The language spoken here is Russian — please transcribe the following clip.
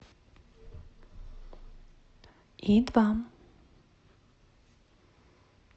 и два